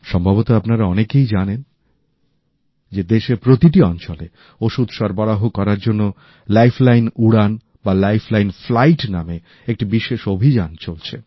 সম্ভবত আপনারা অনেকেই জানেন যে দেশের প্রতিটি অঞ্চলে ওষুধ সরবরাহ করার জন্য লাইফলাইন উড়ান লাইফলাইন ফ্লাইট নামে একটি বিশেষ অভিযান চলছে